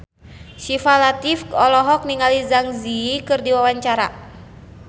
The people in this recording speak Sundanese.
Syifa Latief olohok ningali Zang Zi Yi keur diwawancara